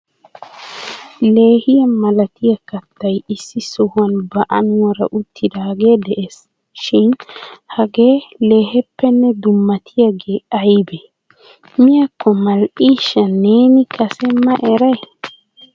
Leehiya malatiya kattay issi sohuwan ba anuwara uttidaage de'ees shin hage leehippenne dummatiyaage aybbe? Miyakko mal"ishsha neeni kase ma eray?